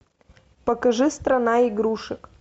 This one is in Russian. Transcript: покажи страна игрушек